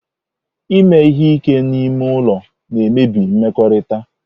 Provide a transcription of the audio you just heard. Ime ihe ike n'ime ụlọ na-emebi mmekọrịta.